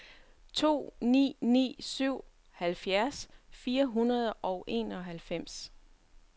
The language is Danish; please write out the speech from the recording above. to ni ni syv halvfjerds fire hundrede og enoghalvfems